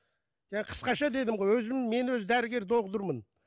қысқаша дедің ғой өзім мен өзі дәрігер